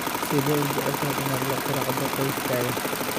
Sidee u jeceshahay inaad la quraacdo qoyskaaga?